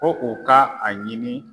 Ko u ka a ɲini